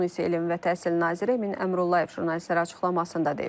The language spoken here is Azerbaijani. Bunu isə elm və təhsil naziri Emin Əmrullayev jurnalistlərə açıqlamasında deyib.